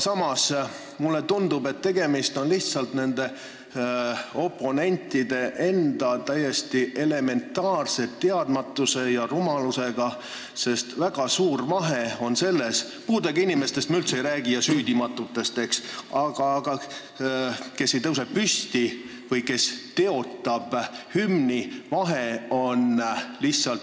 Samas tundub mulle, et tegemist on lihtsalt nende oponentide täiesti elementaarse teadmatuse ja rumalusega, sest väga suur vahe on neil – puudega inimestest ega süüdimatutest ma üldse ei räägi –, kes ei tõuse püsti või kes teotavad hümni.